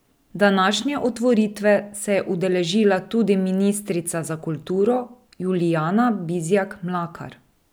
Današnje otvoritve se je udeležila tudi ministrica za kulturo Julijana Bizjak Mlakar.